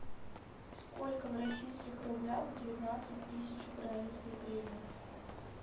сколько в российских рублях девятнадцать тысяч украинских гривен